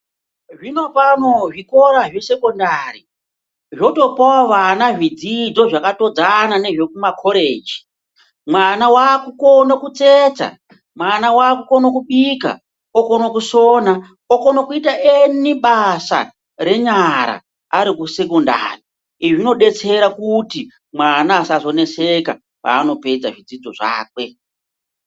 Zvinopano zvikora zvesekondari zvotopawo vana zvidzidzo zvakatodzana nezvekumakoreji. Mwana wakukone kutsetsa, mwana wakukone kubika, okone kusona, okone kuita eni basa renyara ari kusekondari. Izvi zvinodetsera kuti mwana asazoneseka paanopedza zvidzidzo zvakwe.